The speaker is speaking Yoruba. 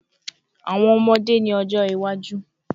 Awọn ọmọde ni ojo iwaju